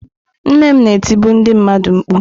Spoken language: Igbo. Nne m na-etibu ndị mmadụ mkpu.